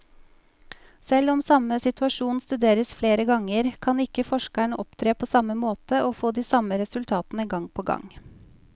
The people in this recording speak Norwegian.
Selv om samme situasjon studeres flere ganger, kan ikke forskeren opptre på samme måte og få de samme resultatene gang på gang.